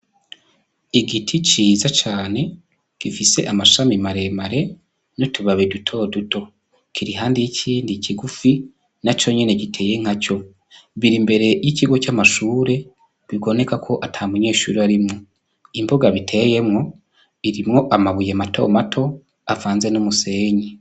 Igiti ciza cane gifise amashami maremare n'utubabi duto duto, kiri iruhande yikindi kigufi naco nyene giteye nkaco biri imbere y'ikigo c'amashure biboneka ko ata munyeshure arimwo, imbuga biteyemwo irimwo amabuye mato mato avanze n'umusenyi.